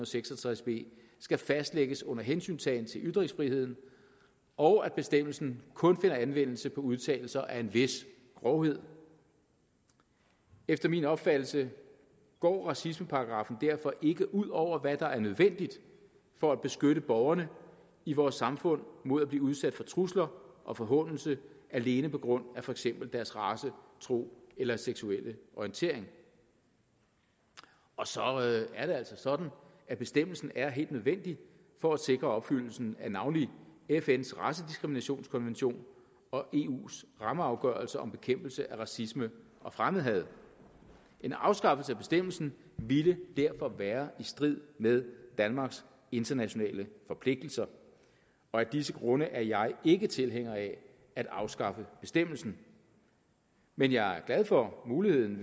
seks og tres b skal fastlægges under hensyntagen til ytringsfriheden og at bestemmelsen kun finder anvendelse på udtalelser af en vis grovhed efter min opfattelse går racismeparagraffen derfor ikke ud over hvad der er nødvendigt for at beskytte borgerne i vores samfund mod at blive udsat for trusler og forhånelse alene på grund af for eksempel deres race tro eller seksuelle orientering og så er det altså sådan at bestemmelsen er helt nødvendig for at sikre opfyldelsen af navnlig fns racediskriminationskonvention og eus rammeafgørelse om bekæmpelse af racisme og fremmedhad en afskaffelse af bestemmelsen ville derfor være i strid med danmarks internationale forpligtelser og af disse grunde er jeg ikke tilhænger af at afskaffe bestemmelsen men jeg er glad for muligheden